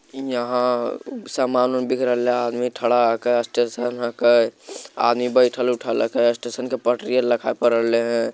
इ यहाँ सामान उन बिक रहले हे | आदमी खड़ा हकै | स्टेशन हके | आदमी बैठल उठल हकै स्टेसन के पटरी देखाई पड़ रहले हे ।